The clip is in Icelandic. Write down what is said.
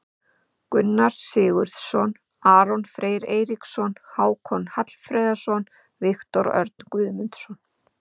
Gunnar Sigurðsson, Aron Freyr Eiríksson, Hákon Hallfreðsson, Viktor Örn Guðmundsson.